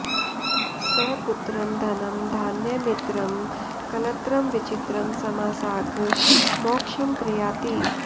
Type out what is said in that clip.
स पुत्रं धनं धान्यमित्रं कलत्रं विचित्रं समासाद्य मोक्षं प्रयाति